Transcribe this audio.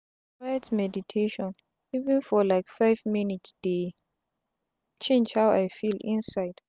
quiet meditation even for like five minutes dey change how i feel inside.